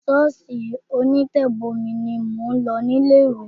Ṣọ́ọ̀ṣì onítẹ̀bomi ni mò ń lọ ní ilé ìwé.